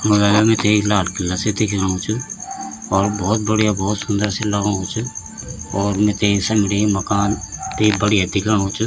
मगेर मीथै एक लाल किला सी दिख्येणु च और भौत बढ़िया भौत सुन्दर सी लगणु च और मिते समणी मकान ते बढ़िया दिख्योणों च।